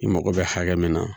I mago bɛ hakɛ min na